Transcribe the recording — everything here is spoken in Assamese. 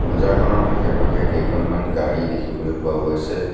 বজাৰখনৰ আশে-পাশে কেইখনমান গাড়ী দেখিবলৈ পোৱা গৈছে।